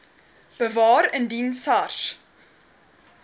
bewaar indien sars